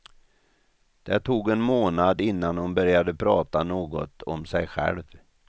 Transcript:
Det tog en månad innan hon började prata något om sig själv.